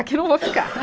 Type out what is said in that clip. Aqui eu não vou ficar.